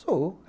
Sou.